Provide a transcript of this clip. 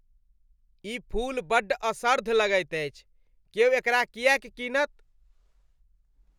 ई फूल बड्ड असर्द्ध लगैत अछि। क्यो एकरा किएक कीनत ?